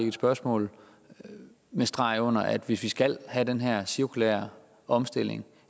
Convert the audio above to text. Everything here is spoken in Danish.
et spørgsmål og med streg under at hvis vi skal have den her cirkulære omstilling